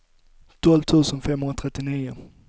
tolv tusen femhundratrettionio